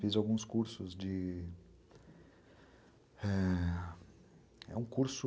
Fiz alguns cursos de... É um curso...